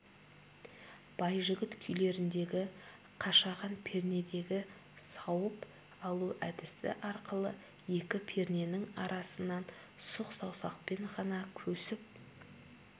байжігіт күйлеріндегі қашаған пернедегі сауып алу әдісі арқылы екі перненің арасынан сұқ саусақпен ғана көсіп